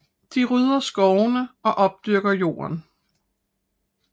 De ryddede skovene og opdyrkede jorden